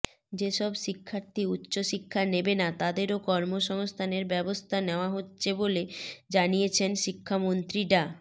যেসব শিক্ষার্থী উচ্চ শিক্ষা নেবে না তাদেরও কর্মসংস্থানের ব্যবস্থা নেওয়া হচ্ছে বলে জানিয়েছেন শিক্ষামন্ত্রী ডা